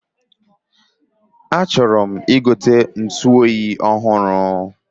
A chọrọm igote ntuoyi ọhụrụ